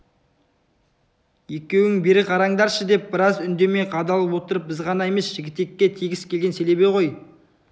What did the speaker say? екеуің бері қараңдаршы деп біраз үндемей қадалып отырып біз ғана емес жігітекке тегіс келген селебе ғой